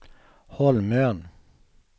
Holmön